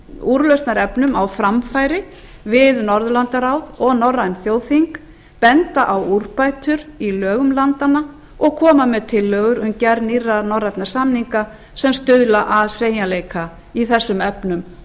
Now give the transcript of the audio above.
úrlausnarefnum á framfæri við norðurlandaráð og norræn þjóðþing benda á úrbætur í lögum landanna og koma með tillögur um gerð nýrra norrænna samninga sem stuðla að sveigjanleika í þessum efnum